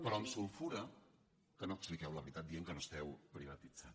però em sulfura que no expliqueu la veritat dient que no esteu privatitzant